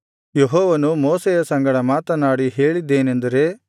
ಯೆಹೋವನು ಮೋಶೆಯ ಸಂಗಡ ಮಾತನಾಡಿ ಹೇಳಿದ್ದೇನೆಂದರೆ